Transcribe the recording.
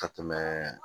Ka tɛmɛ